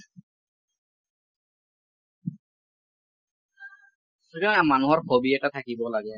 এতিয়া মানুহৰ hobby এটা থাকিব লাগে ।